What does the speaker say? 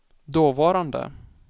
dåvarande